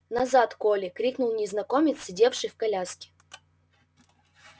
назад колли крикнул незнакомец сидевший в коляске